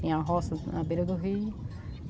Tinha roça na beira do rio.